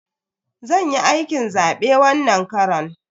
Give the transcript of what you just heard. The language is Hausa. Zan yi aikin zabe wannan karon.